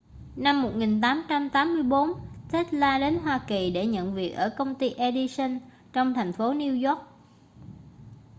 năm 1884 tesla đến hoa kỳ để nhận việc ở công ty edison trong thành phố new york